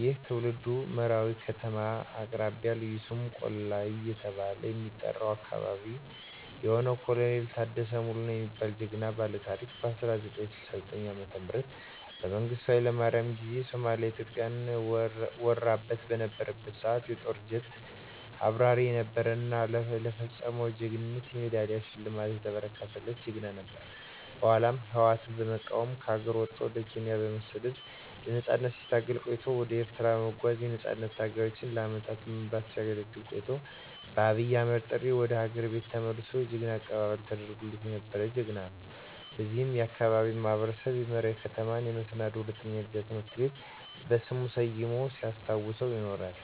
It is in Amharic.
ይህም ትውልዱ መራዊ ከተማ አቅራቢያ ልዩ ስሙ ቆለላ እየተባለ በሚጠራው አካበቢ የሆነው ኮሎኔል ታደሰ ሙሉነህ የሚባለው ጀግና ባለታሪክ በ1969 ዓ.ም በመንግስቱ ሀይለማርያም ጊዜ ሶማሊያ ኢትዮጵያን ወራበት በነበረበት ሰዓት የጦር ጀት አብራሪ የነበረ እና ለፈፀመው ጀግንነት የሜዳሊያ ሽልማት የተበረከተለት ጀግና ነበር። በኃላም ህወአትን በመቃወም ከሀገር ወጦ ወደ ኬንያ በመሠደድ ለነፃነት ሲታገል ቆይቶ ወደ ኤርትራ በመጓዝ የነፃነት ታጋዮችን ለአመታት በመምራት ሲያገለግል ቆይቶ በአብይ አህመድ ጥሪ ወደ ሀገር ቤት ተመልሶ የጀግና አቀባበል ተደርጎለት የነበረ ጀግና ነው። በዚህም የአካባቢው ማህበረሰብ የመራዊ ከተማን የመሰናዶ ሁለተኛ ደረጃ ትምህርት ቤትን በሥሙ ሠይሞ ሲያስታውሰው ይኖራል።